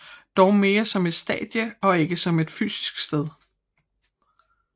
Dog mere som et stadie og ikke som et fysisk sted